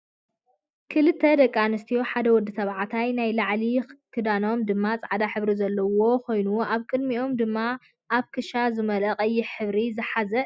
ክልተ ደቂ ኣንስትዮን ሓደ ወዲ ተባዕታይን ናይ ላዕሊ ከዳኖም ድማ ፃዕዳ ሕብሪ ዘለዎ ኮይኖም ኣብ ቅድሚኦም ድማ ኣብ ክሻ ዝመለኣ ቀይሕ ሕብሪ ዝሓዘ እዩ።